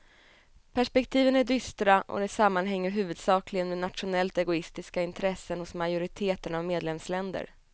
Perspektiven är dystra och det sammanhänger huvudsakligen med nationellt egoistiska intressen hos majoriteten av medlemsländer.